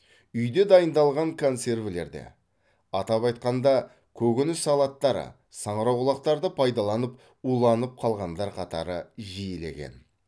үйде дайындалған консервілерді атап айтқанда көкөніс салаттары саңырауқұлақтарды пайдаланып уланып қалғандар қатары жиілеген